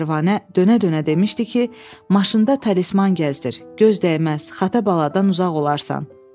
Pərvanə dönə-dönə demişdi ki, maşında talisman gəzdir, göz dəyməz, xata baladan uzaq olarsan.